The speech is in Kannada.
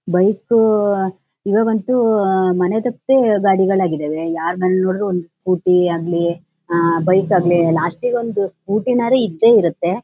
ಬೈಕ್ಕೂ ಇವಾಗಂತೂ ಮನೆಗಟ್ಟೆ ಗಾಡಿಗಳಾಗಿದ್ದಾವೆ ಯಾರ್ ಮನೆಲ್ ನೋಡಿದ್ರು ಒಂದ್ ಸ್ಕೂಟಿ ಆಗ್ಲಿ ಅಹ್ ಬೈಕ್ ಆಗ್ಲಿ ಲಾಸ್ಟಿಗ್ ಒಂದು ಸ್ಕೂಟಿ ನಾರು ಇದ್ದೆ ಇರತ್ತೆ.